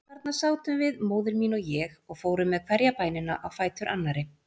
Þarna sátum við, móðir mín og ég, og fórum með hverja bænina á fætur annarri.